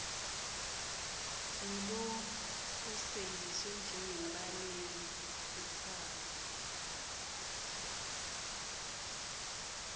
ngulokhoseliswe njengembaleki kutsatsa